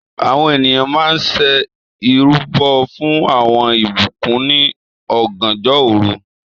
Àwọn ènìyàn mà n ṣẹ̀ irubọ̀ fún awọn ìbùkún ní ọ̀gànjọ̀ orú